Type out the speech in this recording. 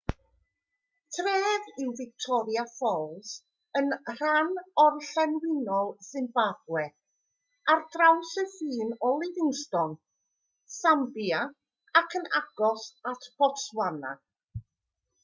tref yw victoria falls yn rhan orllewinol simbabwe ar draws y ffin o livingstone sambia ac yn agos at botswana